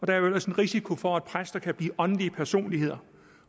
der er jo ellers en risiko for at præster kan blive åndelige personligheder